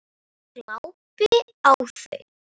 Ég glápi á þau.